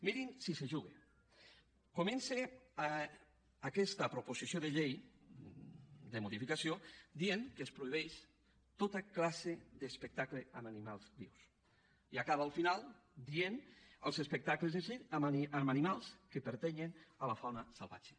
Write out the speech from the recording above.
mirin si s’hi juga comença aquesta proposició de llei de modificació dient que es prohibeixen tota classe d’espectacles amb animals vius i acaba al final dient els espectacles de circ amb animals que pertanyen a la fauna salvatge